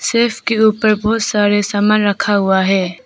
Self के ऊपर बहुत सारे सामान रखा हुआ है।